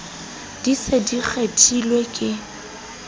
di se di kgethilwe di